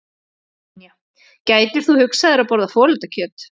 Brynja: Gætir þú hugsað þér að borða folaldakjöt?